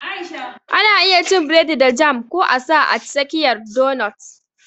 Ana iya cin biredi da jam ko a sa a tsakiyar donut